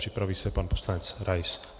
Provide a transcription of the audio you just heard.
Připraví se pan poslanec Rais.